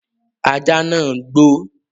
Ajá nàá ń gbó